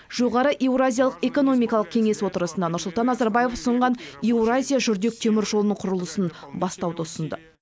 жоғары еуразиялық экономикалық кеңес отырысында нұрсұлтан назарбаев ұсынған еуразия жүрдек теміржолының құрылысын бастауды ұсынды